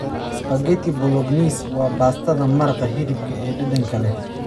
Spaghetti Bolognese waa baastada maraqa hilibka ee dhadhanka leh.